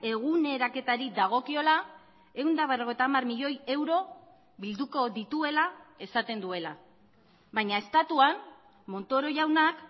eguneraketari dagokiola ehun eta berrogeita hamar milioi euro bilduko dituela esaten duela baina estatuan montoro jaunak